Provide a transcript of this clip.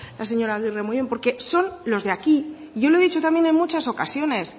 la señora agirre muy bien porque son los de aquí yo lo he dicho también en muchas ocasiones